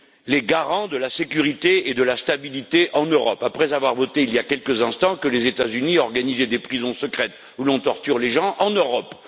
les garants de la sécurité et de la stabilité en Europe, et ce après avoir voté il y a quelques instants que les États Unis organisaient des prisons secrètes où l'on torture les gens en Europe.